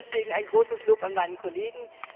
Also deswegen ein großes Lob an meinen Kollegen.